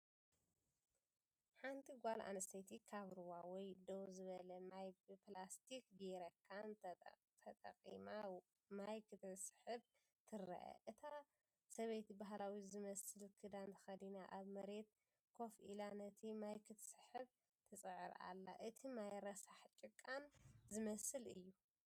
ሓንቲ ጓል ኣንስተይቲ ካብ ሩባ ወይ ደው ዝበለ ማይ ብፕላስቲክ ጀሪካን ተጠቒማ ማይ ክትስሕብ ትርአ። እታ ሰበይቲ ባህላዊ ዝመስል ክዳን ተኸዲና ኣብ መሬት ኮፍ ኢላ ነቲ ማይ ክትስሕብ ትጽዕር ኣላ። እቲ ማይ ረሳሕን ጭቃን ዝመስል እዩ።